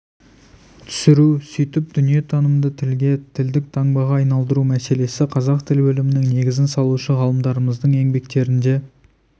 түсіру сөйтіп дүниетанымды тілге тілдік таңбаға айналдыру мәселесі қазақ тіл білімінің негізін салушы ғалымдарымыздың еңбектерінде